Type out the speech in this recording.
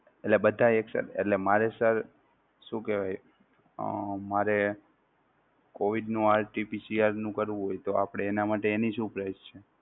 એટલે બધાય action એટલે મારે sir શું કેહવાય અમ મારે COVID નો RT-PCR નું કરવું હોય તો આપણે એના માટે એની શું price છે?